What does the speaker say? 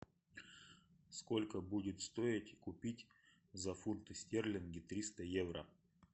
сколько будет стоить купить за фунты стерлинги триста евро